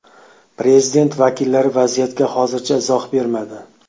Prezident vakillari vaziyatga hozircha izoh bermadi.